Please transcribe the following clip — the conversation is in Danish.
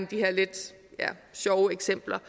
de her lidt sjove eksempler